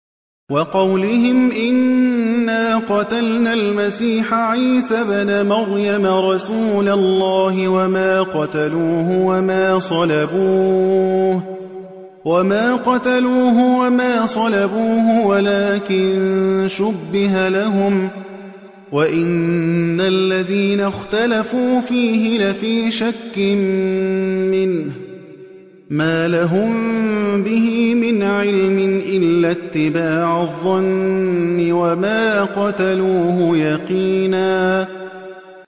وَقَوْلِهِمْ إِنَّا قَتَلْنَا الْمَسِيحَ عِيسَى ابْنَ مَرْيَمَ رَسُولَ اللَّهِ وَمَا قَتَلُوهُ وَمَا صَلَبُوهُ وَلَٰكِن شُبِّهَ لَهُمْ ۚ وَإِنَّ الَّذِينَ اخْتَلَفُوا فِيهِ لَفِي شَكٍّ مِّنْهُ ۚ مَا لَهُم بِهِ مِنْ عِلْمٍ إِلَّا اتِّبَاعَ الظَّنِّ ۚ وَمَا قَتَلُوهُ يَقِينًا